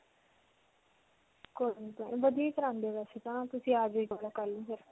ਵਧੀਆ ਹੀ ਕਰਵਾਉਂਦੇ ਵੈਸੇ ਤਾਂ ਤੁਸੀਂ ਆ ਜੀਓ ਇੱਕ ਬਾਰ ਕਲ੍ਹ ਨੂੰ ਫਿਰ.